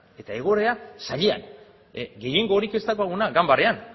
eta egoera zailean gehiengorik ez daukagunean ganbaran